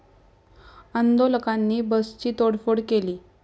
आंदोलकांनी बसची तोडफोड केली.